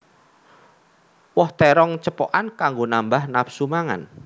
Woh térong cepokan kanggo nambah nafsu mangan